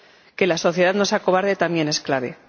Que la sociedad no se acobarde también es clave.